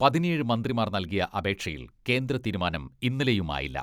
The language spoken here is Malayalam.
പതിനേഴ് മന്ത്രിമാർ നൽകിയ അപേക്ഷയിൽ കേന്ദ്ര തീരുമാനം ഇന്നലെയും ആയില്ല.